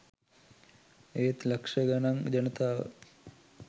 ඒත් ලක්ෂ ගණන් ජනතාව